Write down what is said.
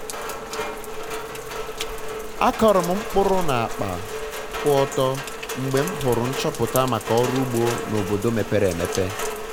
akọrọ m mkpụrụ na akpa kwu ọtọ mgbe m hụrụ nchọpụta maka ọrụ ugbo na obodi mepere emepe